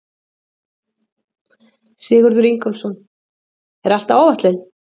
Sigurður Ingólfsson: Er allt á áætlun?